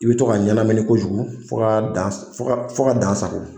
I bɛ to ka ɲɛnamini kojugu fo ka dan sago